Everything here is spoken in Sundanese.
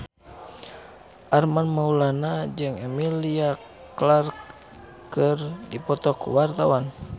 Armand Maulana jeung Emilia Clarke keur dipoto ku wartawan